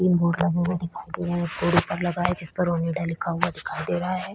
तीन बोर्ड लगे हुए दिखाई दे रहै हैं बोर्ड ऊपर लगा हैं जिसपर ऑन इंडिया लिखा हुआ दिखाई दे रहा हैं।